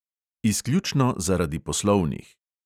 Izključno zaradi poslovnih.